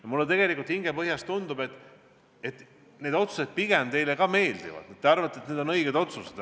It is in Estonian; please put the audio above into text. Ja mulle tegelikult hingepõhjas tundub, et need otsused pigem teile ka meeldivad, küllap teiegi arvate, et need on õiged otsused.